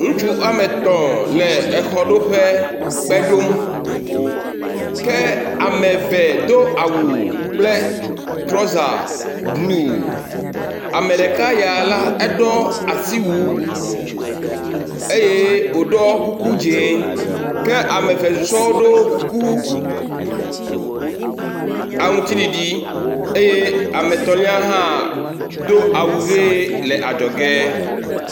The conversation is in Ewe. Ŋutsu woametɔ̃ le exɔ ɖoƒe, kpe ɖom. Ke ame eve do awu kple trɔ̃za bluu. Ame ɖeka yea la, aɖɔ asiwu eye wòɖɔ kuku dzĩ. Ke ame eve susɔewo ɖo kuku aŋtiɖiɖi eye ame etɔ̃lia hã do awu ʋie le adzɔ ge.